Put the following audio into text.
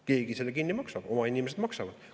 Keegi selle kinni maksab, oma inimesed maksavad.